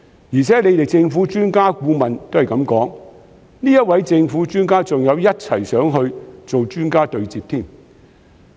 而且政府的專家顧問也是這樣說，該名政府專家更一同前往內地進行專家對接。